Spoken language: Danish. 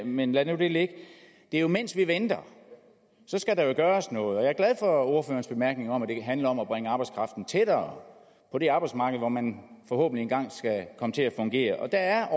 men lad nu det ligge det er jo mens vi venter der skal gøres noget og jeg er glad for ordførerens bemærkning om at det handler om at bringe arbejdskraften tættere på det arbejdsmarked hvor man forhåbentlig engang skal komme til at fungere og der